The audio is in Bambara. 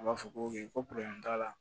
A b'a fɔ ko t'a la